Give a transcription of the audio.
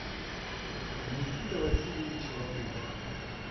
никита васильевич латыпов